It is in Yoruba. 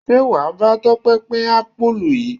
Ṣé wàá bá Tope pin apulu yìí?